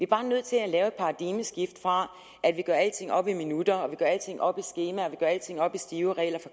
bare nødt til at lave et paradigmeskift fra at vi gør alting op i minutter og vi gør alting op i skemaer og vi gør alting op i stive regler